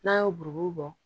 N'a y'o buruburu bɔ